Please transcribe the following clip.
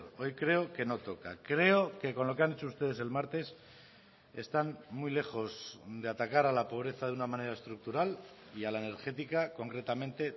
hoy creo que no toca creo que con lo que han hecho ustedes el martes están muy lejos de atacar a la pobreza de una manera estructural y a la energética concretamente